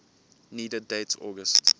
needed date august